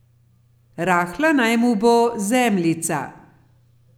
Rahla naj mu bo zemljica.